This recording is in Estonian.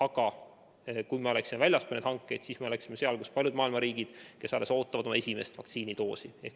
Aga kui oleksime tegutsenud väljaspool neid hankeid, siis oleksime seal, kus on paljud maailma riigid, kes alles ootavad oma esimest vaktsiinidoosi.